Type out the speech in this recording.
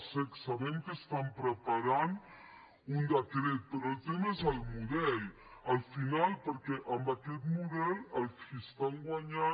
sabem que estan preparant un decret però el tema és el model al final perquè amb aquest model els qui estan guanyant